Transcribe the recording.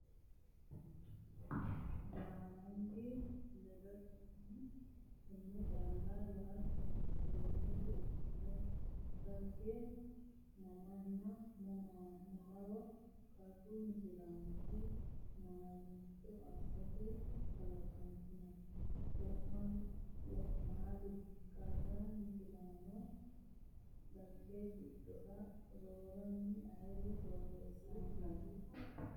Baarangi ledannoti, tenne calla yaatto? Ganote ikkito Dhagge mamanna mamaro Qaru misilaanchi maricho assate kalaqantino? wo’naali? Qara Misilaano Dhagge giddo roorinni ayre borreessinoonni?